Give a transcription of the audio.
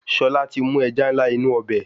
Ṣọlá ti mú ẹja ńlá inú ọbẹ̀.